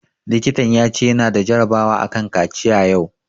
Likitan ya ce ya na da jarabawa a kan kaciya yau